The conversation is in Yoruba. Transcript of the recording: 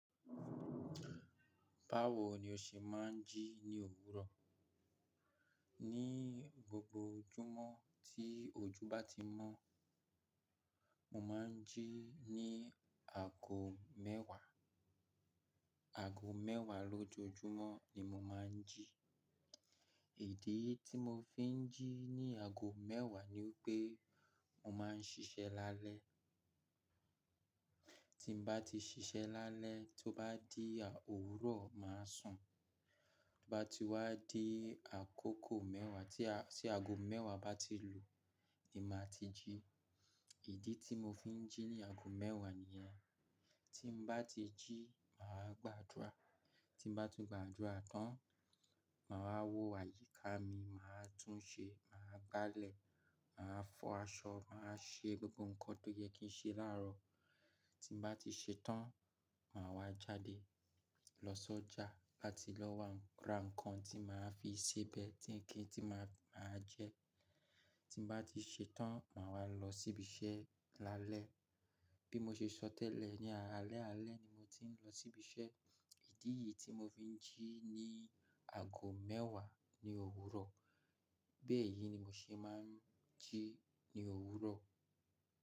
Báwo ni o ṣe máa ń jí ní òwúrọ̀? Ni gbogbo ojúmọ́ tí ojú bá ti mọ́, mo máa ń jí ní aago mẹ́wàá. Aago mẹ́wàá lójoojúmọ́ ni mo máa ń jí. Idi tí mo fi ń jí ní aago mẹ́wàá ni pé mo máa ń ṣiṣẹ́ lálẹ́. Tí n bá ti ṣiṣẹ́ lálẹ́, tó bá di òwúrọ̀, màá sùn. Tó bá ti wá di àkókò mẹ́wàá tí aago mẹ́wàá bá ti lù ú ni màá ti jí. Èdè tí mo fi ń jí ní aago mẹ́wàá nìyẹn. Tí mo bá ti jí, màá gbàdúrà. Tí mo bá tún gbàdúrà tán, màá wo àyíká mi, màá tún un ṣe, màá gbálẹ̀, màá fọ aṣọ, màá ṣe gbogbo nǹkan tó yẹ kí n ṣe láàárọ̀. Tí mo bá ti ṣẹ tán, màá wá jáde lọ sọ́jà láti lọ wa ra nǹkan tí màá fi sèbẹ̀, tí kí n tí màá jẹ. Tí mo bá ti ṣẹ tán, màá wá lọ sí ibi iṣẹ́ lálẹ́. Bí mo ṣe sọ tẹ́lẹ̀, ní alẹ́ alẹ́ ni mo ti ń lọ sí ibi iṣẹ́. Idi yìí tí mo fi ń jí ní aago mẹ́wàá ni òwúrọ̀. Bẹ́ẹ̀ yí ni mo ṣe máa ń jí ní òwúrọ̀.